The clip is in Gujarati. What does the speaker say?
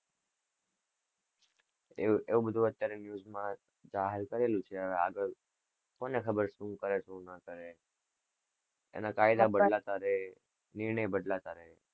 એવું બધું news માં જાહેર કરેલું છે હવે આગળ કોને ખબર શું કરે શું નાં કરે એના કાયદા બદલાતા રે નિર્ણય બદલાતા રે.